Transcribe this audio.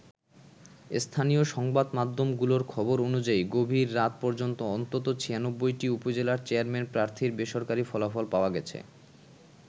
স্থানীয় সংবাদমাধ্যমগুলোর খবর অনুযায়ী গভীর রাত পর্যন্ত অন্তত ৯৬টি উপজেলার চেয়ারম্যান প্রার্থীর বেসরকারি ফলাফল পাওয়া গেছে।